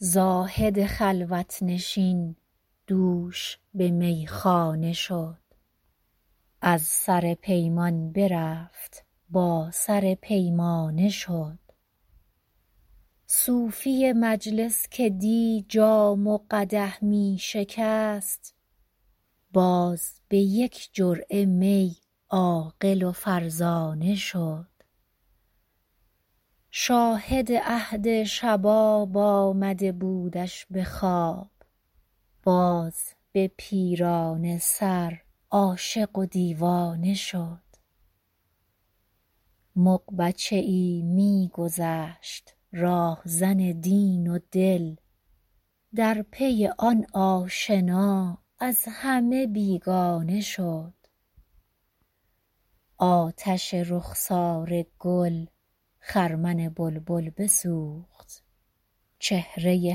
زاهد خلوت نشین دوش به میخانه شد از سر پیمان برفت با سر پیمانه شد صوفی مجلس که دی جام و قدح می شکست باز به یک جرعه می عاقل و فرزانه شد شاهد عهد شباب آمده بودش به خواب باز به پیرانه سر عاشق و دیوانه شد مغ بچه ای می گذشت راهزن دین و دل در پی آن آشنا از همه بیگانه شد آتش رخسار گل خرمن بلبل بسوخت چهره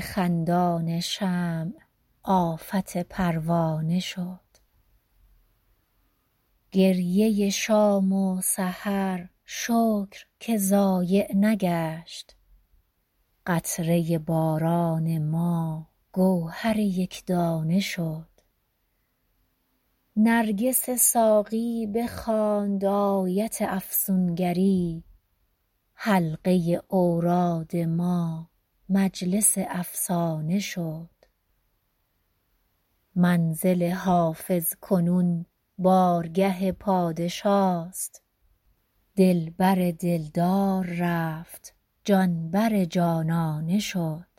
خندان شمع آفت پروانه شد گریه شام و سحر شکر که ضایع نگشت قطره باران ما گوهر یک دانه شد نرگس ساقی بخواند آیت افسون گری حلقه اوراد ما مجلس افسانه شد منزل حافظ کنون بارگه پادشاست دل بر دل دار رفت جان بر جانانه شد